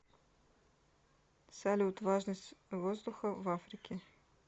салют важность воздуха в африке